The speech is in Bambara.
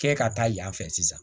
Kɛ ka taa yan fɛ sisan